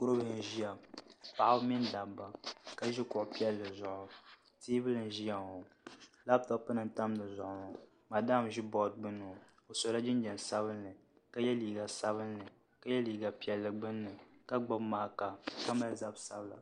N ʒiya paɣaba mini dabba ka ʒi kuɣu piɛlli zuɣu teebuli n ʒiya ŋo labtop nim n tam di zuɣu madam n ʒi bood gbuni ŋo o sola jinjɛm sabinli ka yɛ liiga sabinli ka yɛ liiga piɛlli gbunni ka gbubi maaka ka mali zabi sabila